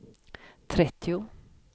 trettio